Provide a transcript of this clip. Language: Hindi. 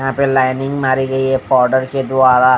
यहां पे लाइनिंग मारी गई है पाउडर के द्वारा।